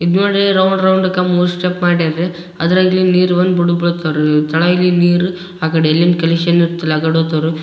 ಇದ್ ನೋಡ್ರಿ round round ಕಂಬ ಸ್ಟೆಪ್ ಮಡ್ಯಾರ್ ರೀ ಅದ್ರಲ್ಲಿ ನೀರು ಬೀಳ್ತವೆ ರೀ ಕೆಳಗಿನ ನೀರ್ ಆ ಕಡೆ ಎಲ್ಲಿಂದ ಕಲೆಕ್ಷನ್ ಇರ್ತಾವ ಆಕಡೆ ಹೋಗ್ತವರಿ.